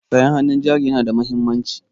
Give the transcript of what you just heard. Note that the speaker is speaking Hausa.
Sayan hannun jari yana da mahimmanci.